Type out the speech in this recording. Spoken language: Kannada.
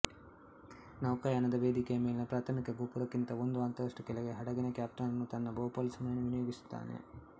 ನೌಕಾಯಾನದ ವೇದಿಕೆಯ ಮೇಲಿನ ಪ್ರಾಥಮಿಕ ಗೋಪುರಕ್ಕಿಂತ ಒಂದು ಹಂತದಷ್ಟು ಕೆಳಗೆ ಹಡಗಿನ ಕಫ್ತಾನನು ತನ್ನ ಬಹುಪಾಲು ಸಮಯವನ್ನು ವಿನಿಯೋಗಿಸುತ್ತಾನೆ